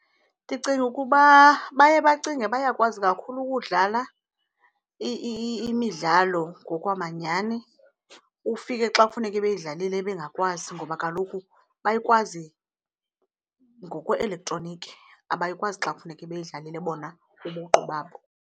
Ndicinga ukuba baye bacinge bayakwazi kakhulu ukudlala imidlalo ngokwamanyani. Ufike xa kufuneke beyidlalile bengakwazi ngoba kaloku bayikwazi ngokwe-elektroniki, abayikwazi xa kufuneke beyidlalile bona ubuqu babo.